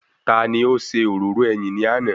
Taani ó ṣe òróró ẹyìn ní àná?